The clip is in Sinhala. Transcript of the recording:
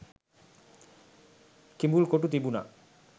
කිඹුල් කොටු තිබුණා.